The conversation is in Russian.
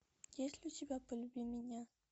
есть ли у тебя полюби меня